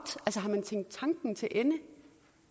har man tænkt tanken til ende